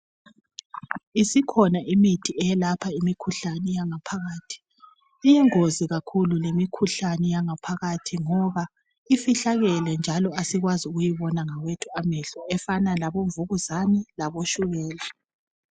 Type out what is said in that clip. Isikhona imithi eyelapha imikhuhlane eyangaphakathi. Iyingozi kakhulu lemikhuhlane eyangaphakathi ngoba ifihlakele njalo asikwazi ukuyibona ngawethu amehlo efana labomvukuzane laboshukela.